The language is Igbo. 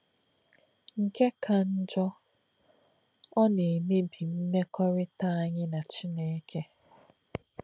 Nkè̄ kā̄ njọ̄, ọ́ nā̄-èmè̄bí̄ mèkọ̀rị̣tà̄ ànyí̄ nā̄ Chīné̄kè̄.